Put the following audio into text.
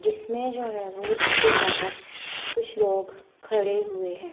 जिसमें जो है और उसके बाहर कुछ लोग खड़े हुए हैं।